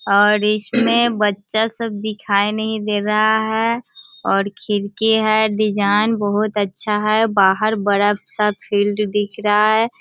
और इसमें बच्चा सब दिखाई नहीं दे रहा है और खिड़की है डिजाइन बहुत अच्छा है बाहर बड़ा सा फील्ड दिख रहा है।